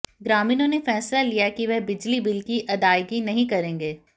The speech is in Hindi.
ग्रामीणों ने फैसला लिया कि वह बिजली बिल की अदायगी नहीं करेंगे